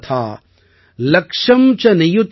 वृन्दं खर्वो निखर्व च शंख पद्म च सागर |